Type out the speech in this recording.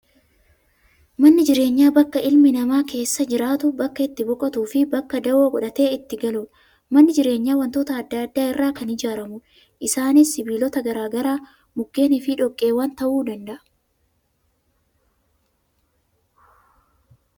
Manni jireenyaa, bakka ilmi namaa keessa jiraatu, bakka itti boqotuu fi bakka dawoo godhatee itti galudha. Manni jireenyaa waantota addaa addaa irraa kan ijaaramudha. Isaanis sibiilota garaagaraa, mukkeen fi dhoqqeewwan ta'uu danda'a.